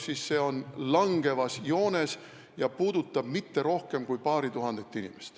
Need arvud lähevad langevas joones ja see ei puuduta mitte rohkem kui paari tuhandet inimest.